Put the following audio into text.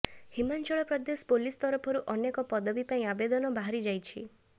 Himachal Pradesh police ତରଫରୁ ଅନେକ ପଦବୀ ପାଇଁ ଆବେଦନ ବାହାରି ଯାଇଛି